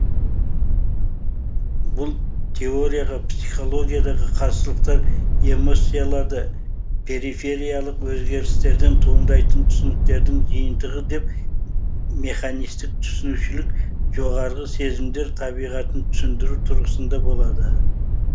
бұл теорияға психологиядағы қарсылықтар эмоцияларды перифериялық өзгерістерден туындайтын түсініктердің жиынтығы деп механистік түсінушілік жоғарғы сезімдер табиғатын түсіндіру тұрғысында болады